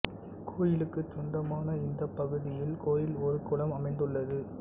கோயிலுக்குச் சொந்தமான இந்தப் பகுதியில் கோயில் ஒரு குளம் அமைந்துள்ளது